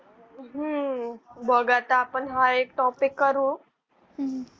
हम्म बघ आता आपण हा एक topic करू. हम्म.